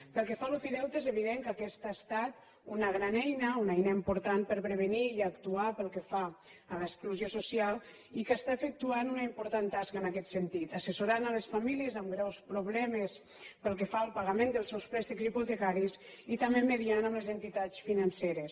pel que fa a l’ofideute és evident que aquesta ha estat una gran eina una eina important per prevenir i actuar pel que fa a l’exclusió social i que està efectuant una important tasca en aquest sentit assessorant les famílies amb greus problemes pel que fa al pagament dels seus préstecs hipotecaris i també mitjançant amb les entitats financeres